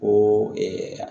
Ko